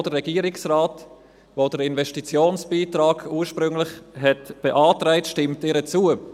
Auch der Regierungsrat, welcher den Investitionsbeitrag ursprünglich beantragt hat, stimmt ihr zu.